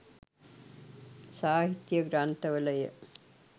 සාහිත්‍ය ග්‍රන්ථවලය.